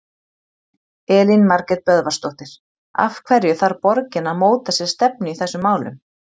Elín Margrét Böðvarsdóttir: Af hverju þarf borgin að móta sér stefnu í þessum málum?